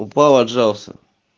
упал отжался